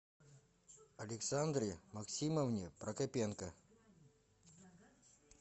александре максимовне прокопенко